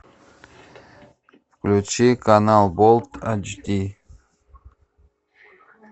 включи канал болт эйч ди